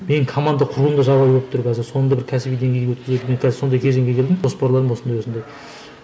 мен команда құруыма жағдай болып тұр қазір соны да бір кәсіби деңгейге мен қазір сондай кезеңге келдім жоспарларым осындай осындай